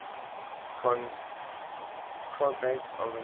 cognates of the name